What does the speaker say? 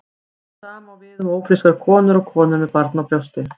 Það sama á við um ófrískar konur og konur með barn á brjósti.